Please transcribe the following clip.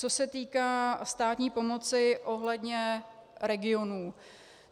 Co se týká státní pomoci ohledně regionů.